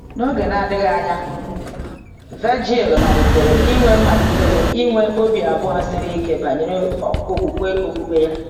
N’oge na-adịghị anya, Virgil malitere inwe malitere inwe obi abụọ siri ike banyere okwukwe okpukpe ya.